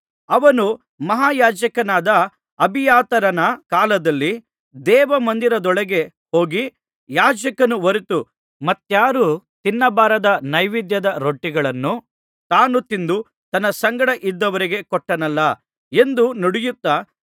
ಅವನು ಮಹಾಯಾಜಕನಾದ ಅಬಿಯಾತರನ ಕಾಲದಲ್ಲಿ ದೇವಮಂದಿರದೊಳಕ್ಕೆ ಹೋಗಿ ಯಾಜಕರು ಹೊರತು ಮತ್ತಾರೂ ತಿನ್ನಬಾರದ ನೈವೇದ್ಯದ ರೊಟ್ಟಿಗಳನ್ನು ತಾನು ತಿಂದು ತನ್ನ ಸಂಗಡ ಇದ್ದವರಿಗೂ ಕೊಟ್ಟನಲ್ಲಾ ಎಂದು ನುಡಿಯುತ್ತಾ